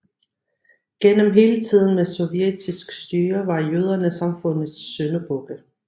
Gennem hele tiden med sovjetisk styre var jøderne samfundets syndebukke